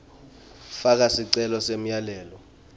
faka sicelo semyalelo